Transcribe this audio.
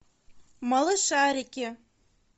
малышарики